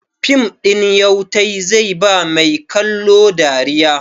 Fim ɗin Yautai zai ba mai kallo dariya.